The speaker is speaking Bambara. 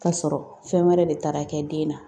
Ka sɔrɔ fɛn wɛrɛ de tara kɛ den na.